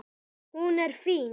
Hún er fín.